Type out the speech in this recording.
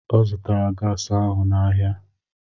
Ọ zụtara gasi ahụ n'ahịa.